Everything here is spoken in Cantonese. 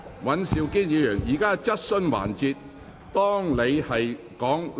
尹兆堅議員，現在是質詢環節。